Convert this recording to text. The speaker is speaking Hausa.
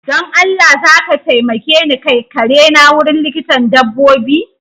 Don Allah zaka taimake ni kai kare na wurin likitan dabbobi?